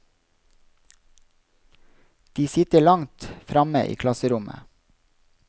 De sitter langt framme i klasserommet.